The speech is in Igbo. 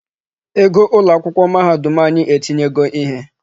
Our University school fees has increased.